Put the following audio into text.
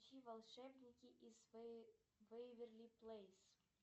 включи волшебники из вэйверли плэйс